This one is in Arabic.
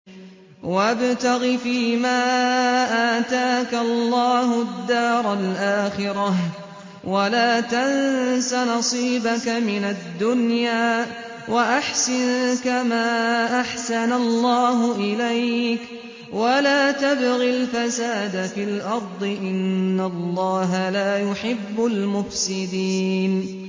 وَابْتَغِ فِيمَا آتَاكَ اللَّهُ الدَّارَ الْآخِرَةَ ۖ وَلَا تَنسَ نَصِيبَكَ مِنَ الدُّنْيَا ۖ وَأَحْسِن كَمَا أَحْسَنَ اللَّهُ إِلَيْكَ ۖ وَلَا تَبْغِ الْفَسَادَ فِي الْأَرْضِ ۖ إِنَّ اللَّهَ لَا يُحِبُّ الْمُفْسِدِينَ